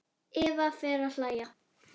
Eva fer að hlæja.